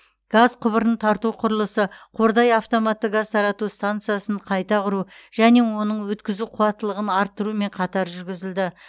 газ құбырын тарту құрылысы қордай автоматты газ тарату стансасын қайта құру және оның өткізу қуаттылығын арттырумен қатар жүргізілді